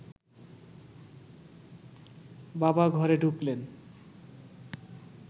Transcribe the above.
বাবা ঘরে ঢুকলেন